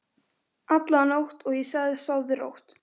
alla nótt, og ég sagði: Sofðu rótt.